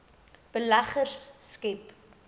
beleggers skep